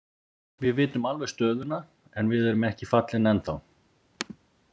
Við vitum alveg stöðuna en við erum ekki fallin ennþá.